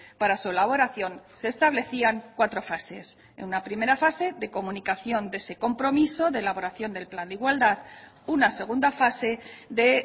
para su elaboración se establecían cuatro fases en una primera fase de comunicación de ese compromiso de elaboración del plan de igualdad una segunda fase de